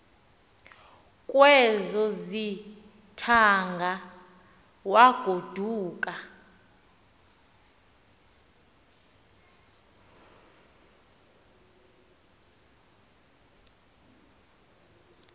kwezo zithaanga wagoduka